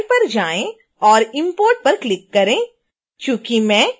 file पर जाएँ और import पर click करें